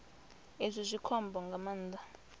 izwi zwi khombo nga maanḓa